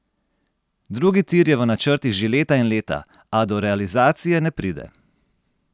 Drugi tir je v načrtih že leta in leta, a do realizacije ne pride.